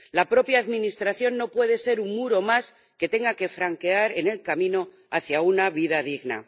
La propia administración no puede ser un muro más que se tenga que franquear en el camino hacia una vida digna.